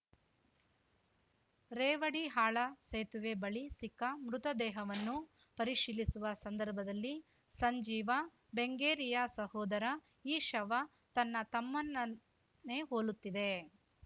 ರೇವಡಿಹಾಳ ಸೇತುವೆ ಬಳಿ ಸಿಕ್ಕ ಮೃತದೇಹವನ್ನು ಪರಿಶೀಲಿಸುವ ಸಂದರ್ಭದಲ್ಲಿ ಸಂಜೀವ ಬೆಂಗೇರಿಯ ಸಹೋದರ ಈ ಶವ ತನ್ನ ತಮ್ಮನನ್ನೇ ಹೋಲುತ್ತಿದೆ